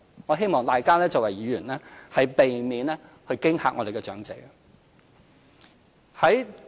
我希望大家作為議員，避免驚嚇長者。